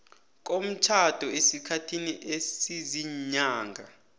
komtjhado esikhathini esiziinyanga